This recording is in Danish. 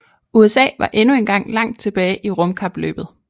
USA var endnu engang langt tilbage i rumkapløbet